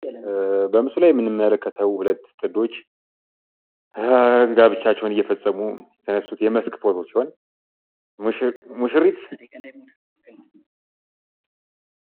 በምስሉ ላይ የምንመለከተው ሁለት ጥንዶች ጋብቻቸውን እየፈጸሙ የተነሱት የመስክ ፎቶ ነው።